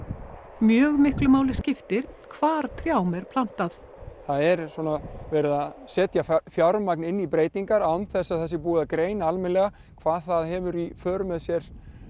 mjög miklu máli skiptir hvar trjám er plantað það er svona verið að setja fjármagn inn í breytingar án þess að sé búið sé að greina almennilega hvað það hefur í för með sér